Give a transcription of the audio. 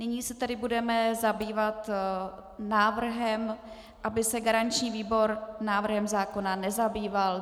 Nyní se tedy budeme zabývat návrhem, aby se garanční výbor návrhem zákona nezabýval.